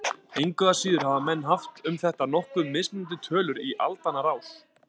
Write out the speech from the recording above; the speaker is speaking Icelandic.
Engu að síður hafa menn haft um þetta nokkuð mismunandi tölur í aldanna rás.